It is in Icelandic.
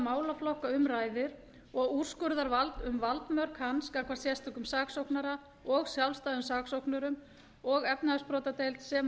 málaflokka um ræðir og úrskurðarvald um valdmörk hans gagnvart sérstökum saksóknara og sjálfstæðum saksóknurum og efnahagsbrotadeild sem og